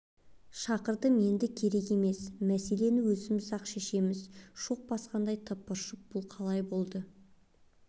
шақырдым енді керек емес мәселен өзіміз-ақ шешеміз шоқ басқандай тыпыршып бұл қалай болады